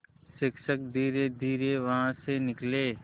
शिक्षक धीरेधीरे वहाँ से निकले